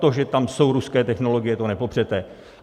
To, že tam jsou ruské technologie, to nepopřete.